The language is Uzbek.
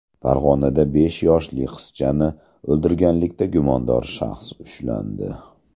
Farg‘onada besh yoshli qizchani o‘ldirganlikda gumondor shaxs ushlandi.